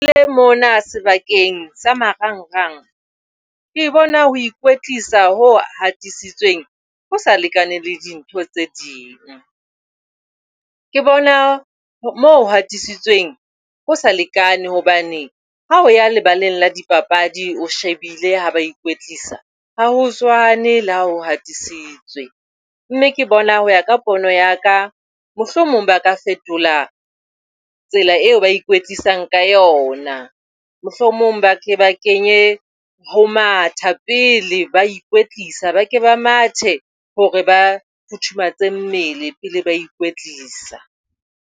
Le mona sebakeng sa marangrang ke bona ho ikwetlisa ho hatisitsweng ho sa lekane le dintho tse ding. Ke bona moo ho hatisitsweng ho sa lekane hobane ha o ya lebaleng la dipapadi o shebile ha ba ikwetlisa ha ho tshwane le ha ho hatisitswe. Mme ke bona ho ya ka pono ya ka mohlomong ba ka fetola tsela eo ba ikwetlisang ka yona. Mohlomong ba ke ba kenye ho matha pele ba ikwetlisa, ba ke ba mathe hore ba futhumatse mmele pele ba ikwetlisa.